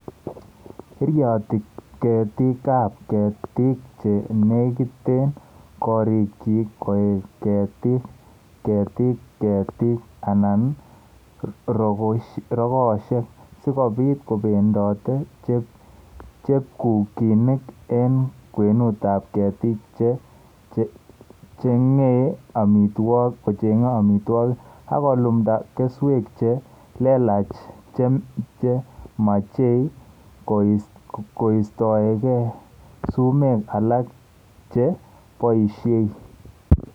Iratyi keetiigap keetiik che neegitee koriikyik koek keetiik, keetiik, keetiik, anan rogoosyek, si kobiit kobendote chepkuginik eng' kwenutap keetiik che cheeng'ei amitwogik, ak kolumda kesweek che leelach che machei koistoegei suumeek alak che poisyei